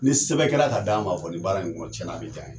Ni sɛbɛn kɛra ka d'an ma kɔni baara in kɔnɔ cɛn na a bɛ jaa an ye.